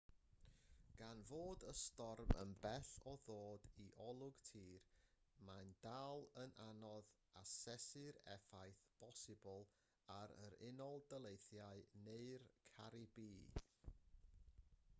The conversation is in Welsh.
gan fod y storm yn bell o ddod i olwg tir mae'n dal yn anodd asesu'r effaith bosibl ar yr unol daleithiau neu'r caribî